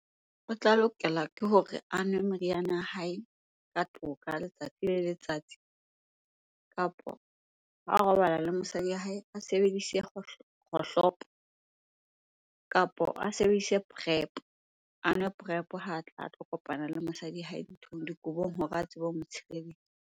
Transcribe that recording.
O tla lokela ke hore a nwe meriana ya hae ka toka letsatsi le letsatsi. Kapo ha robala le mosadi ya hae, a sebedise kgohlopo kapo a sebedise Prep, a nwe Prep ha a tla a tlo kopana le mosadi ya hae nthong, dikobong hore a tsebe ho motshireletsa.